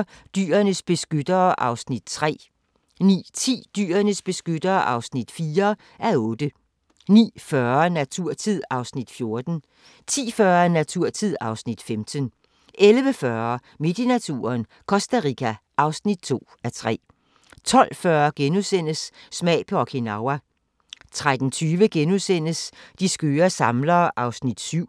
08:45: Dyrenes beskyttere (3:8) 09:10: Dyrenes beskyttere (4:8) 09:40: Naturtid (Afs. 14) 10:40: Naturtid (Afs. 15) 11:40: Midt i naturen - Costa Rica (2:3) 12:40: Smag på Okinawa * 13:20: De skøre samlere (7:8)*